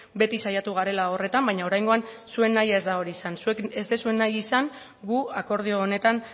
beti saiatu garela horretan baina oraingoan zuen nahia ez da hori izan zuek ez duzue nahi izan gu akordio honetan